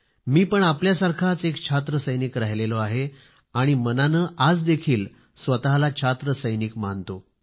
मी पण आपल्यासारखाच एक छात्र सैनिक राहिलेलो आहे आणि मनाने आजदेखील स्वतला छात्र सैनिक मानतो